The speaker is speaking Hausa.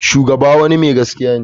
Shugaba wani mai gaskiya ne.